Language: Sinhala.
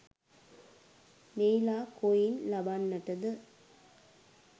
මෙහිලා කොයින් ලබන්නට ද?